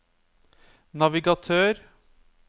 navigatør